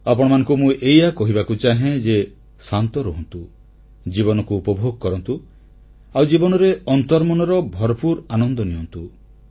ଆପଣମାନଙ୍କୁ ମୁଁ ଏଇଆ କହିବାକୁ ଚାହେଁ ଯେ ଶାନ୍ତ ରୁହନ୍ତୁ ଜୀବନକୁ ଉପଭୋଗ କରନ୍ତୁ ଆଉ ଜୀବନରେ ଅନ୍ତର୍ମନର ଭରପୁର ଆନନ୍ଦ ନିଅନ୍ତୁ